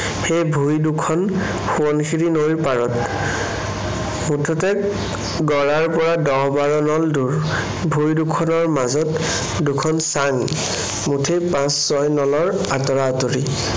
সেই ভূঁই দুখন সোৱণশিৰী নৈৰ পাৰত। মুঠতে গড়াৰ পৰা দহ-বাৰ নল দূৰ। ভূঁই দুখনৰ মাজত দুখন চাঙ। মুঠেই পাঁচ-ছয় নলৰ আঁতৰা-আঁতৰি।